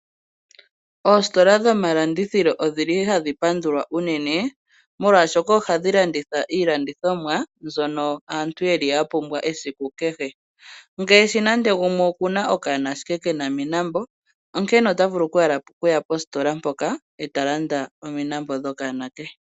Oositola dhoma landithilo odhili hadhi pandulwa unene, molwashoka oha dhilanditha iilandithomwa mbyono aantu yeli yapumbwa esiku kehe. Ngeshi nande gumwe okuna okaana ndee kena omilambo onkene otavulu okuya positola mpoka etalanda omilambo dhokaana ke.